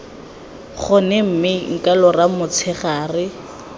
gone mme nka lora motshegare